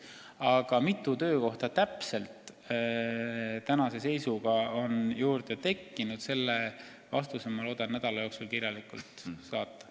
Ent mitu töökohta täpselt tänase seisuga on juurde tekkinud, selle vastuse ma loodan nädala jooksul kirjalikult saata.